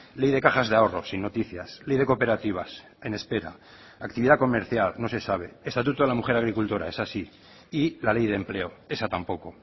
ley de cajas de ahorro sin noticias ley de cooperativas en espera actividad comercial no se sabe estatuto de la mujer agricultora esa sí y la ley de empleo esa tampoco